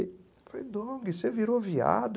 Eu falei, Dong, você virou viado.